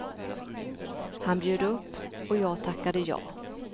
Han bjöd upp och jag tackade ja.